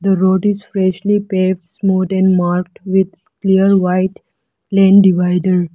the road is freshly pave smooth and marked with clear white lane divider.